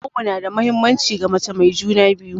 Awo nada muhimmanci ga mace mai juna biyu